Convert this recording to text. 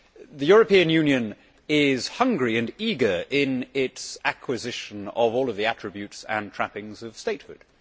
The European Union is hungry and eager in its acquisition of all of the attributes and trappings of statehood.